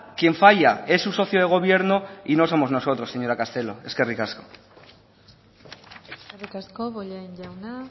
quien falla es su socio de gobierno y no somos nosotros señora castelo eskerrik asko eskerrik asko bollain jauna